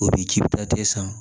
O bi ji ta san